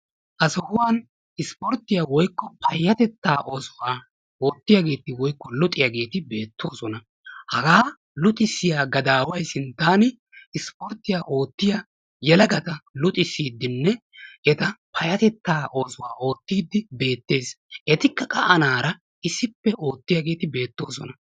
Ha sohuwan isiporttiya woykko payyatettaa oosuwa oottiyageeti woykko luxiyageeti beettoosona. Hagaa luxissiya gadaaway sinttaan isiporttiya oottiya yelagata luxissiddinne eta payyatettaa oosuwaa oottiiddi beettees. Etikka qa anaara issippe oottiyageeti beettoosona.